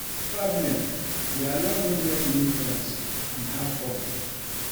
Traveling dey allow me make new friends and have fun